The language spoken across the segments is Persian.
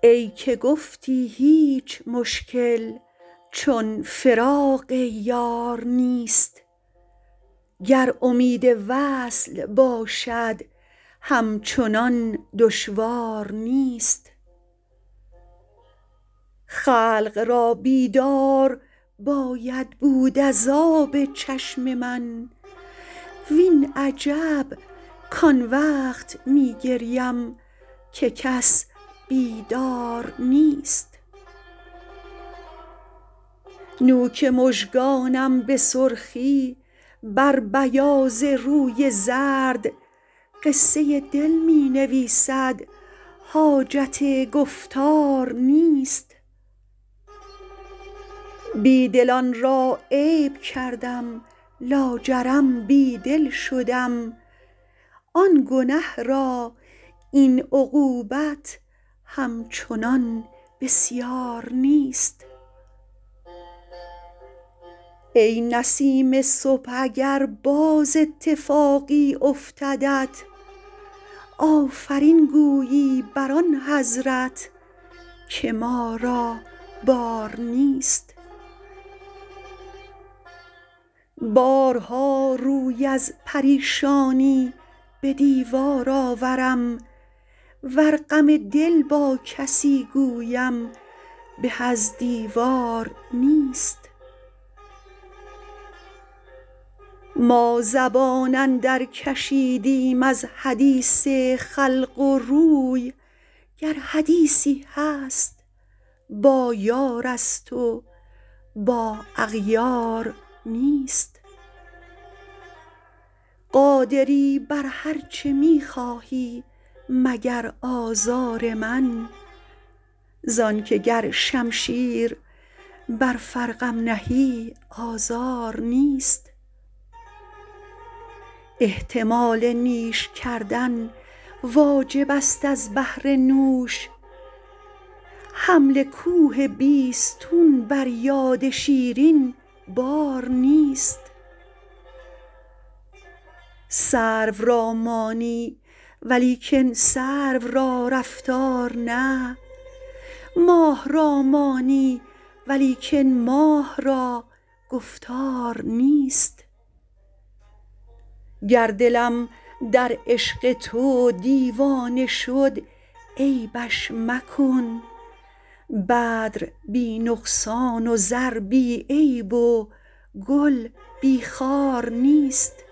ای که گفتی هیچ مشکل چون فراق یار نیست گر امید وصل باشد همچنان دشوار نیست خلق را بیدار باید بود از آب چشم من وین عجب کان وقت می گریم که کس بیدار نیست نوک مژگانم به سرخی بر بیاض روی زرد قصه دل می نویسد حاجت گفتار نیست بی دلان را عیب کردم لاجرم بی دل شدم آن گنه را این عقوبت همچنان بسیار نیست ای نسیم صبح اگر باز اتفاقی افتدت آفرین گویی بر آن حضرت که ما را بار نیست بارها روی از پریشانی به دیوار آورم ور غم دل با کسی گویم به از دیوار نیست ما زبان اندرکشیدیم از حدیث خلق و روی گر حدیثی هست با یارست و با اغیار نیست قادری بر هر چه می خواهی مگر آزار من زان که گر شمشیر بر فرقم نهی آزار نیست احتمال نیش کردن واجبست از بهر نوش حمل کوه بیستون بر یاد شیرین بار نیست سرو را مانی ولیکن سرو را رفتار نه ماه را مانی ولیکن ماه را گفتار نیست گر دلم در عشق تو دیوانه شد عیبش مکن بدر بی نقصان و زر بی عیب و گل بی خار نیست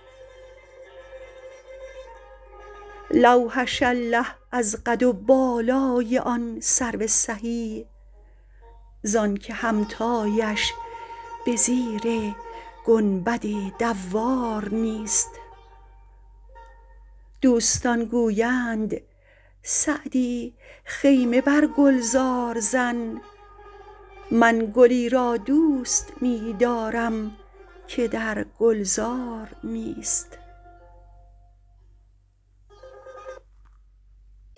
لوحش الله از قد و بالای آن سرو سهی زان که همتایش به زیر گنبد دوار نیست دوستان گویند سعدی خیمه بر گلزار زن من گلی را دوست می دارم که در گلزار نیست